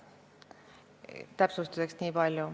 Niipalju täpsustuseks.